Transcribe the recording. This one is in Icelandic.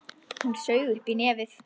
Hún saug upp í nefið.